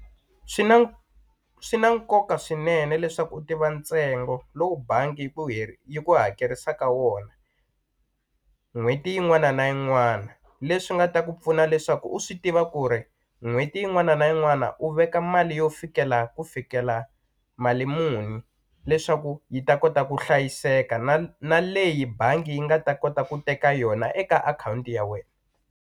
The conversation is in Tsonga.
Swi na swi na nkoka swinene leswaku u tiva ntsengo lowu bangi yi ku yi ku hakerisaka wona n'hweti yin'wana na yin'wana leswi nga ta ku pfuna leswaku u swi tiva ku ri n'hweti yin'wana na yin'wana u veka mali yo fikela ku fikela mali muni leswaku yi ta kota ku hlayiseka na na leyi bangi yi nga ta kota ku teka yona eka akhawunti ya wena.